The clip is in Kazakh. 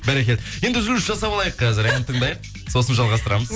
бәрекелді енді үзіліс жасап алайық қазір ән тыңдайық сосын жалғастырамыз